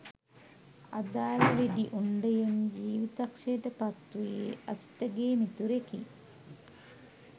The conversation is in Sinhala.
අදාළ වෙඩි උණ්ඩයෙන් ජීවිතක්ෂයට පත්වූයේ අසිතගේ මිතුරෙකි